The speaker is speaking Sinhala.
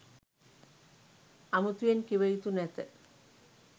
අමුතුවෙන් කිව යුතු නැත